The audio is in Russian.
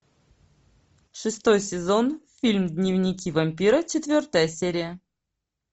шестой сезон фильм дневники вампира четвертая серия